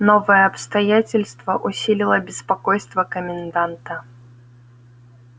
новое обстоятельство усилило беспокойство коменданта